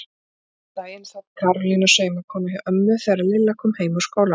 Einn daginn sat Karólína saumakona hjá ömmu þegar Lilla kom heim úr skólanum.